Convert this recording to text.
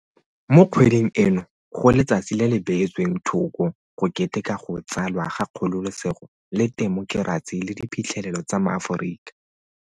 Mo kgweding eno go letsatsi le le bee tsweng thoko go keteka go tsalwa ga kgololosego le temokerasi le diphitlhelelo tsa maAforika.